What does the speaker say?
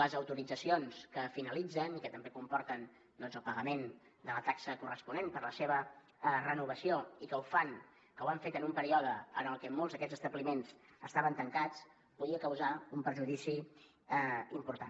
les autoritzacions que finalitzen i que també comporten el pagament de la taxa corresponent per la seva renovació i que ho fan o que ho han fet en un període en el que molts d’aquests establiments estaven tancats podien causar un perjudici important